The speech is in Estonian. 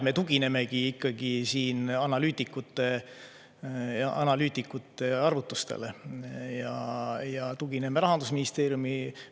Me tuginemegi siin analüütikute arvutustele ja tugineme Rahandusministeeriumile.